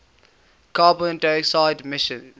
carbon dioxide emissions